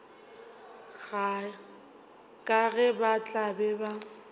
ka ge ba tla be